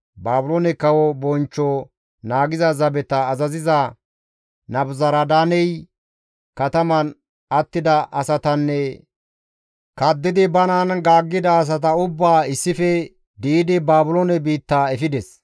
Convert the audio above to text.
Baabiloone kawo bonchcho naagiza zabeta azaziza Nabuzaradaaney kataman attida asatanne kaddidi banan gaaggida asata ubbaa issife di7idi Baabiloone biitta efides.